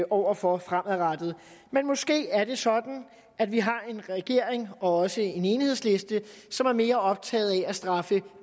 over for fremadrettet men måske er det sådan at vi har en regering og også en enhedsliste som er mere optaget af at straffe